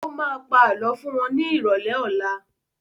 Ó má pa Àlọ́ fún wọn ní ìrọ̀lẹ́ ọlá